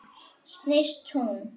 Snýst hún?